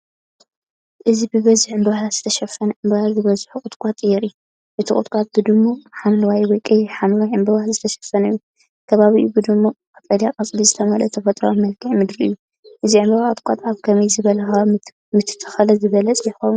እዚ ብብዙሕ ዕምባባታት ዝተሸፈነ ዕምባባ ዝበዝሖ ቁጥቋጥ የርኢ። እቲ ቁጥቋጥ ብድሙቕ ሐምላይ ወይ ቀይሕ-ሓምላይ ዕምባባታት ዝተሸፈነ እዩ። ከባቢኡ ብድሙቕ ቀጠልያ ቆጽሊ ዝተመልአ ተፈጥሮኣዊ መልክዓ ምድሪ እዩ። እዚ ዕምባባ ቆጥቋጥ ኣብ ከመይ ዝበለ ከባቢ ምተተኽለ ዝበለጸ ይከውን?